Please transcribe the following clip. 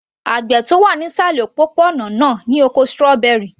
Àgbẹ̀ tó wà ní ìsàlẹ̀ òpópó-ònà náà ní oko strawberry